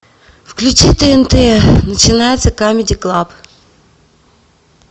включи тнт начинается камеди клаб